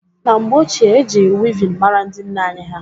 Na mgbe ochie, e ji wivin mara ndị nne anyị ha